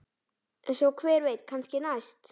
Svo hver veit, kannski næst?